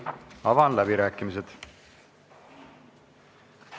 Avan läbirääkimised.